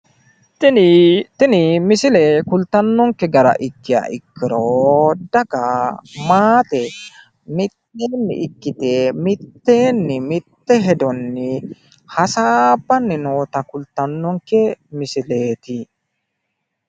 Tini misile kultannonke gara ikkiha ikkiro daga maate mitteenni ikkite mitte hedonni hasaabbanni noota kultannonke misileeti.